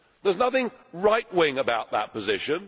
There is nothing right wing about that position